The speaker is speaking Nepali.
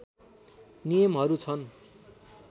नियमहरू छन्